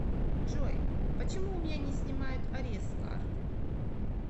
джой почему у меня не снимают арест с карты